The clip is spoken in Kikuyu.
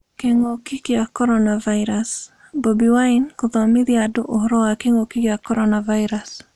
Kĩngũki kĩa coronavirus:Bobi Wine kũthomithia andũ ũhoro wa kĩngũki kĩa coronavirus